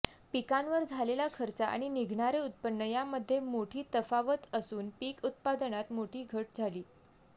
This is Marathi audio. पिकांवर झालेला खर्च आणि निघणारे उत्पन्न यामध्ये मोठी तफावत असून पीक उत्पादनात मोठी घट झाली